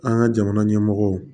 An ka jamana ɲɛmɔgɔ